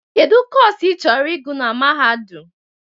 Kedu Kọsu ịchọrọ ịgụ na Mahadum?